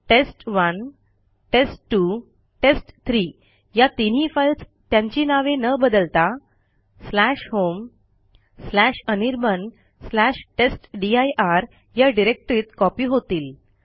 टेस्ट1 test two test three या तीनही files त्यांची नावे न बदलता homeanirbantestdir या डिरेक्टरीत कॉपी होतील